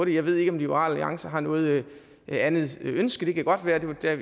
jeg ved ikke om liberal alliance har noget andet ønske det kan godt være jeg